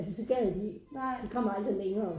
Altså så gad de ikke de kom aldrig længere